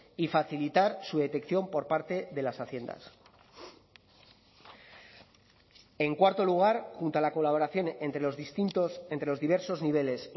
y facilitar su detección por parte de las haciendas en cuarto lugar junto a la colaboración entre los distintos entre los diversos niveles